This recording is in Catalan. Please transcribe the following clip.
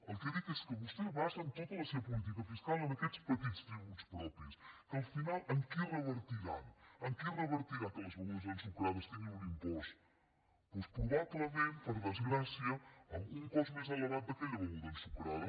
el que dic és que vostès basen tota la seva política fiscal en aquests petits tributs propis que al final en qui revertiran en qui revertirà que les begudes ensucrades tinguin un impost doncs probablement per desgràcia en un cost més elevat d’aquella beguda ensucrada